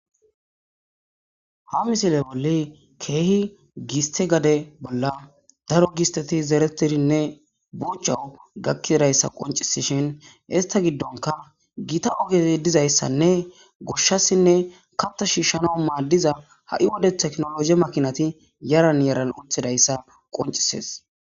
Ha misile bolla kehi gisttey gade bolla daro gisteti zeretidinne buchu gakidaysa qoncisishin ista gidonka gitta oge dizaysanne goshasinne katta shishanas madiza ha'i wode tekinologi yaran yaran uttidaysa qoncise